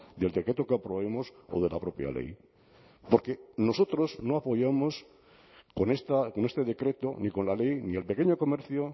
del decreto que aprobemos o de la propia ley porque nosotros no apoyamos con este decreto ni con la ley ni el pequeño comercio